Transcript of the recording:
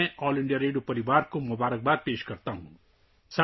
میں all India radio family کو مبارکباد دیتا ہوں